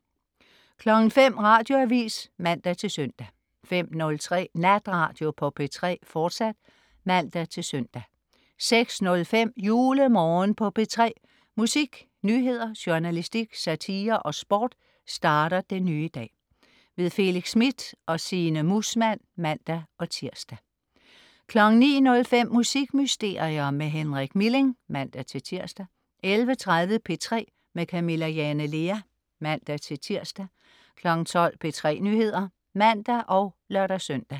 05.00 Radioavis (man-søn) 05.03 Natradio på P3, fortsat (man-søn) 06.05 JuleMorgen på P3. Musik, nyheder, journalistik, satire og sport starter den nye dag. Felix Smith og Signe Muusmann (man-tirs) 09.05 Musikmysterier med Henrik Milling (man-tirs) 11.30 P3 med Camilla Jane Lea (man-tirs) 12.00 P3 Nyheder (man og lør-søn)